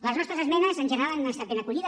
les nostres esmenes en general han estat ben acollides